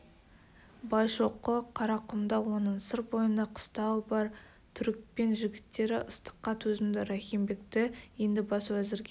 байшоқы қарақұмда оның сыр бойында қыстауы бар түрікпен жігіттері ыстыққа төзімді рахим бекті енді бас уәзірге